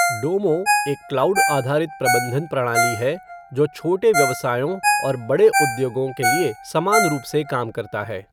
डोमो एक क्लाउड आधारित प्रबंधन प्रणाली है जो छोटे व्यवसायों और बड़े उद्योगों के लिए समान रूप से काम करता है।